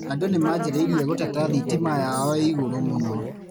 Andũ nĩmanjririe gũteta thitima yao ĩ igũrũ mũno.